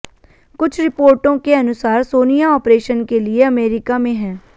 कुछ रिपोर्टों के अनुसार सोनिया आपरेशन के लिए अमेरिका में हैं